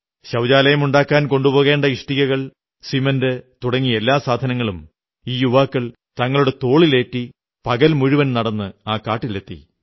ശൌചാലയമുണ്ടാക്കാൻ കൊണ്ടുപോകേണ്ട ഇഷ്ടികകൾ സിമന്റ് തുടങ്ങി എല്ലാ സാധനങ്ങളും ഈ യുവാക്കൾ തങ്ങളുടെ തോളിലേറ്റി പകൽ മുഴുവൻ നടന്ന് ആ കാട്ടിലെത്തി